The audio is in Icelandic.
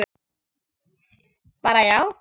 Bara já?